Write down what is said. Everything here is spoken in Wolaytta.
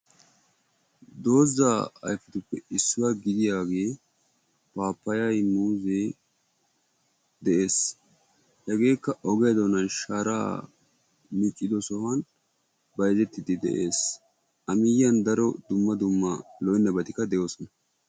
dozaa ayfetuppe issuwaa gidiyaagee paapayay muuzee dees. hegeekka ogiyaa doonan sharaa miccidosan bayzzetiidi dees.